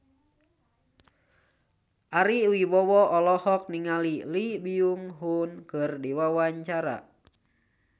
Ari Wibowo olohok ningali Lee Byung Hun keur diwawancara